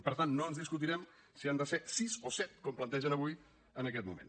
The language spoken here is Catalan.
per tant no ens discutirem si han de ser sis o set com plantegen avui en aquest moment